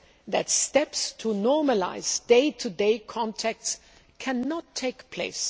ensure that steps to normalise day to day contacts cannot take place.